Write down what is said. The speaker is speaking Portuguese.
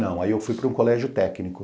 Não, aí eu fui para um colégio técnico.